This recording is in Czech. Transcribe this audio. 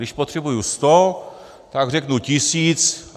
Když potřebuji sto, tak řeknu tisíc.